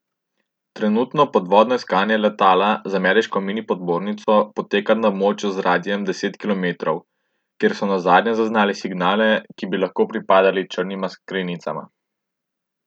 Trenutno podvodno iskanje letala z ameriško minipodmornico poteka na območju z radijem deset kilometrov, kjer so nazadnje zaznali signale, ki bi lahko pripadali črnima skrinjicama.